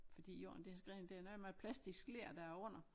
Fordi jorden det er skredet det er noget med plastisk ler der er under